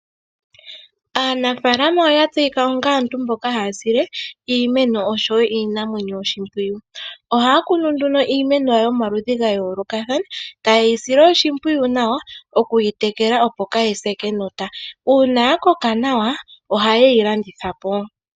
Aanafaalama oya tseyika onga aantu mboka haya sile iimeno osho wo iinamwenyo oshimpwiyu. Ohaya kunu nduno iimeno yawo yomaludhi ga yoolokathana ta yeyi sile oshimpwiyu nawa oku yi tekela opo kaa yise kenota, uuna ya koka nawa oha ye yi landitha po.